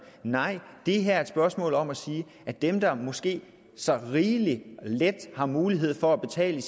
nej det her er et spørgsmål om at sige at dem der måske så rigeligt let har mulighed for at betale